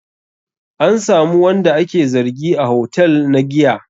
An samu wanda ake zargi a hotel na giya?